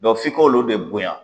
Dɔ f'i k'olu de bonya.